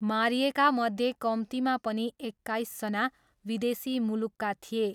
मारिएकामध्ये कम्तीमा पनि एक्काइसजना विदेशी मुलुकका थिए।